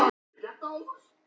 En alltaf hélt hann áfram.